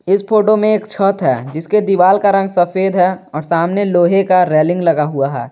इस फोटो में एक छत है जिसके दीवाल का रंग सफेद है और सामने लोहे का रेलिंग लगा हुआ है।